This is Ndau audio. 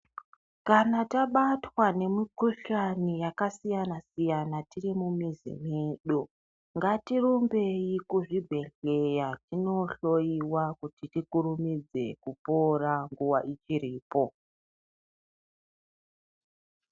Kana tabatwa ngemukuhlani yakasiyana siyana tiri mumuzi mwedu ngatirumbei kuzvibhehleya tonohloiwa kuti tikurumidze kupora nguwa ichiripo.